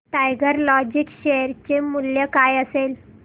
tiger Logistics share चे मूल्य काय असेल